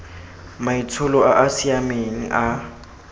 maitsholo a a siameng a